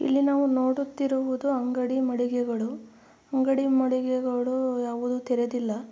ಇಲ್ಲಿ ನಾವು ನೋಡುತ್ತಿರುವುದು ಅಂಗಡಿ ಮಳಿಗೆಗಳು ಅಂಗಡಿ ಮಳಿಗೆಗಳು ಯಾವುದು ತೆರೆದಿಲ್ಲ.